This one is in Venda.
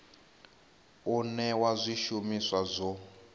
u newa zwi shumiswa zwo